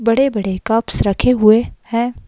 बड़े-बड़े कप्स रखे हुए हैं।